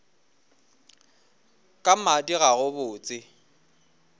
ka madi ga go botse